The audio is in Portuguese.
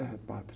É, padre.